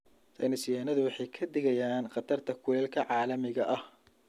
Saynis yahanadu waxay ka digayaan khatarta kulaylka caalamiga ah.